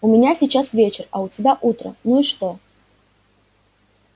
у меня сейчас вечер а у тебя утро ну и что